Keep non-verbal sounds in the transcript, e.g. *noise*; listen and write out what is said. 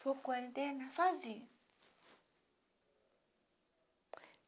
Ficou com a *unintelligible* sozinha.